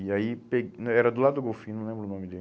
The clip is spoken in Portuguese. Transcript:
E aí, pe, né era do lado do Golfinho, não lembro o nome dele.